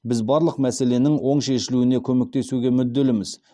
біз барлық мәселенің оң шешілуіне көмектесуге мүдделіміз